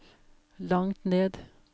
langt ned